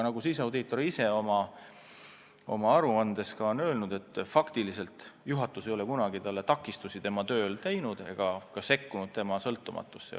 Siseaudiitor on küll oma aruandes ka öelnud, et faktiliselt ei ole juhatus talle kunagi tema töös takistusi teinud ega püüdnud tema sõltumatust kõigutada.